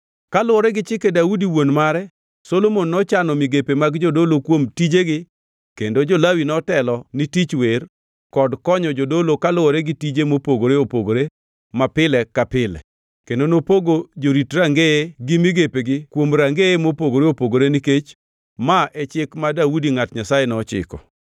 Kaluwore gi chike Daudi wuon mare, Solomon nochano migepe mag jodolo kuom tijegi kendo jo-Lawi notelo ni tich wer kod konyo jodolo kaluwore gi tije mopogore opogore mapile ka pile. Kendo nopogo jorit rangeye gi migepegi kuom rangeye mopogore opogore nikech ma e chik ma Daudi ngʼat Nyasaye nochiko.